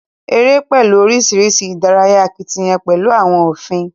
Eré pẹlú oríṣiríṣi ìdárayá akitiyán pẹlú àwọn òfin.